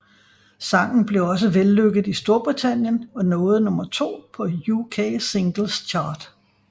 Sangen blev også vellykket i Storbritannien og nåede nummer to på UK Singles Chart